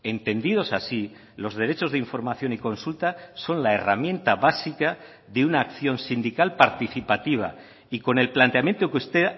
entendidos así los derechos de información y consulta son la herramienta básica de una acción sindical participativa y con el planteamiento que usted